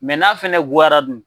Mɛ n'a fɛnɛ goyara dun ?